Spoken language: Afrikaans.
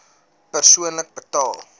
persoonlik betaal